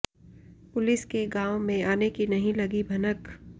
police के गांव में आने की नहीं लगी भनक